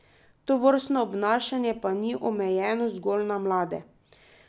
Tovrstno obnašanje pa ni omejeno zgolj na mlade.